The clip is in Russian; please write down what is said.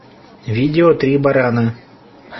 видео три барана